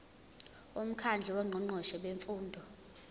umkhandlu wongqongqoshe bemfundo